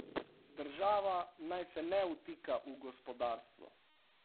Država naj se ne vtika v gospodarstvo.